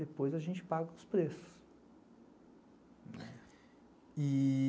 Depois a gente paga os preços.